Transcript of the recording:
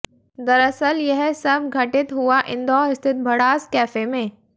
दरअसल यह सब घटित हुआ इंदौर स्थित भड़ास कैफे में